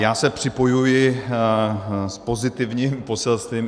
Já se připojuji s pozitivním poselstvím.